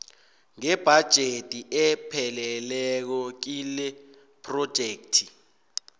ngebhajethi epheleleko kilephrojekthi